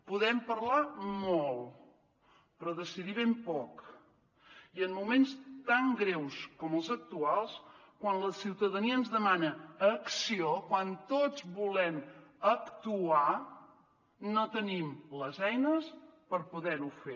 podem parlar molt però decidir ben poc i en moments tan greus com els actuals quan la ciutadania ens demana acció quan tots volem actuar no tenim les eines per poder ho fer